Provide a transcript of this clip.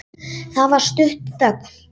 Það varð stutt þögn.